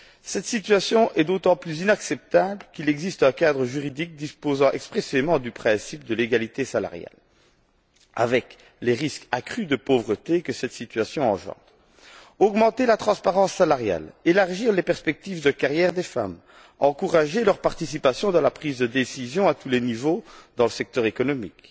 Cette situation est d'autant plus inacceptable qu'il existe un cadre juridique reprenant expressément ce principe de l'égalité salariale, sachant les risques accrus de pauvreté que cette situation engendre. Renforcer la transparence salariale, élargir les perspectives de carrière des femmes, favoriser leur participation dans la prise de décision à tous les niveaux dans le secteur économique,